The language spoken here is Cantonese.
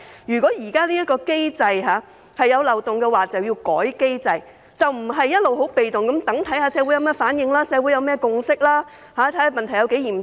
如果現行機制有漏洞，便應修改機制，而不是一直被動地看看社會有何反應、有何共識，看看問題有多嚴重。